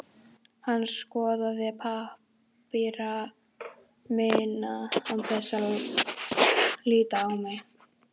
Hann skoðaði pappíra mína án þess að líta á mig.